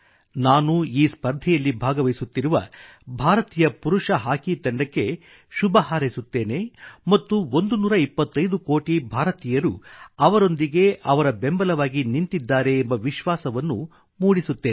ನಾನು ಈ ಸ್ಪರ್ಧೆಯಲ್ಲಿ ಭಾಗವಹಿಸುತ್ತಿರುವ ಭಾರತೀಯ ಪುರುಷ ಹಾಕಿ ತಂಡಕ್ಕೆ ಶುಭ ಹಾರೈಸುತ್ತೇನೆ ಮತ್ತು 125 ಕೋಟಿ ಭಾರತೀಯರು ಅವರೊಂದಿಗೆ ಅವರ ಬೆಂಬಲವಾಗಿ ನಿಂತಿದ್ದಾರೆ ಎಂಬ ವಿಶ್ವಾಸವನ್ನು ಮೂಡಿಸುತ್ತೇನೆ